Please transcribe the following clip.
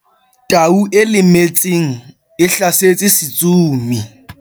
tau e lemetseng e hlasetse setsomi